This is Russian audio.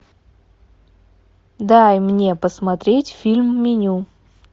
дай мне посмотреть фильм меню